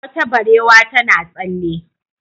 Wata barewa tana tsalle.